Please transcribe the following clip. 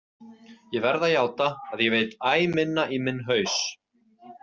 Ég verð að játa að ég veit æ minna í minn haus.